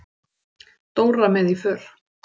Dóra með í för.